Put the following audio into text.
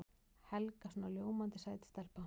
Helga svona ljómandi sæt stelpa.